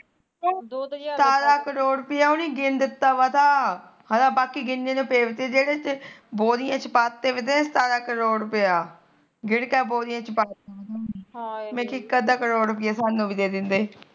ਕਰੋੜ ਰੁਪੀਆ ਉਹਨਾ ਨੇ ਗਿਣ ਦਿੱਤਾ ਵਾ ਤਾ ਹਾਲਾ ਬਾਕੀ ਗਿਣਨੇ ਨੂੰ ਪਏ ਵੇਤੇ ਬੋਰੀਆਂ ਚ ਪਾਤੇ ਵੇ ਤੇ ਸਤਾਰਾਂ ਕਰੋੜ ਰੁਪੀਆ ਗਿਣਕੇ ਬੋਰੀਆਂ ਚ ਪਾ ਮੈ ਇੱਕ ਅੱਧਾ ਕਰੋੜ ਰੁਪੀਆਂ ਸਾਨੂੰ ਵੀ ਦੇ ਦਿੰਦੇ